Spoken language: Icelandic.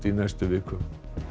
í næstu viku